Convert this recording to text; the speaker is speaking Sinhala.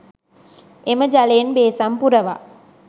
එම ජලයෙන් බේසම් පුරවා